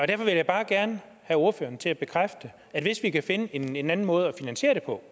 derfor vil jeg bare gerne have ordføreren til at bekræfte at hvis vi kan finde en en anden måde at finansiere det på